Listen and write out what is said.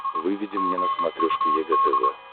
выведи мне на смотрешке егэ тв